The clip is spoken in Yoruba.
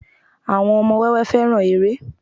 àwọn ọmọ wẹwẹ fẹràn eré